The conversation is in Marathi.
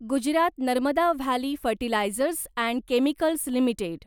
Gujarat Narmada valley fertilizers and chemicals limited